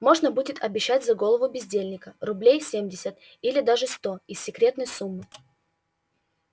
можно будет обещать за голову бездельника рублей семьдесят или даже сто из секретной суммы